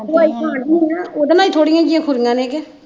ਦਵਾਈ ਖਾਣ ਦਈ ਆ ਨਾ ਉਹਦੇ ਨਾਲ ਹੀ ਥੋੜੀਆਂ ਜਿਹੀਆਂ ਖੁਰੀਆਂ ਨੇ ਕਿ